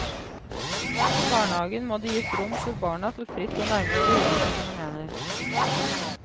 I barnehagen må det gis rom for barna til fritt å nærme seg ulike fenomener.